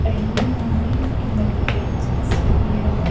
Early morning in the village so here are --